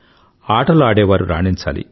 ఆటలు ఆడేవారు రాణించాలి